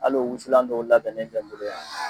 Al'o wusulan dɔw labɛnen filɛ bolo yan